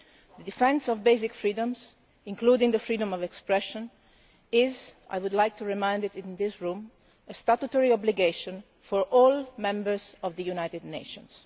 The defence of basic freedoms, including the freedom of expression, is I would like to remind you in this room a statutory obligation for all members of the United Nations.